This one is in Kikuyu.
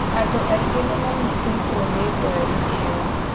Andũ aingĩ nĩmanyitĩtwo nĩ ndwari ĩyo